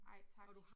Ej tak